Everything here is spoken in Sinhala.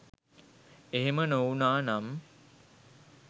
එහෙම නොවුනා නම්